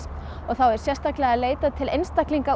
og sérstaklega er leitað til einstaklinga